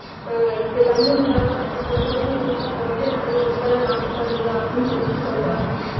ஆஹ் இப்படி தண்ணீர் இல்லாம அதுங்க வந்து ஊர் ஊரா போயிட்டு நிறைய வீடெல்லாம் நாசம் பண்ணுது அப்படின்னு சொல்லிட்டு சொல்றாங்க